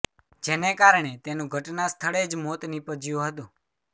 જેને કારણે તેનું ઘટના સ્થળે જ મોત નિપજ્યું હતુ